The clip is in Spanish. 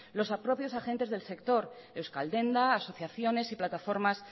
los propios agentes del sector euskal denda asociaciones y plataformas